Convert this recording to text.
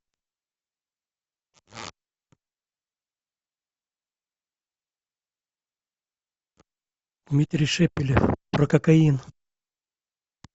дмитрий шепелев про кокаин